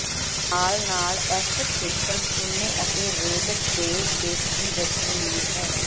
ਨਾਲ ਨਾਲ ਇਸ ਖੇਤਰ ਚੂਨੇ ਅਤੇ ਰੇਤ ਦੇ ਪੇਸ਼ਗੀ ਵਿੱਚ ਅਮੀਰ ਹੈ